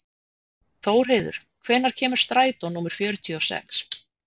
Þórheiður, hvenær kemur strætó númer fjörutíu og sex?